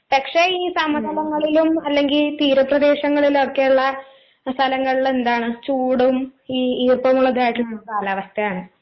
പക്ഷെ ഈ സമതലങ്ങളിലും അല്ലെങ്കി തീരപ്രദേശങ്ങളിലൊക്കെയൊള്ള സ്ഥലങ്ങളിലെന്താണ് ചൂടും ഈ ഈർപ്പമുള്ളതായിട്ടിരിക്കുന്നൊരുകാലാവസ്ഥയാണ്.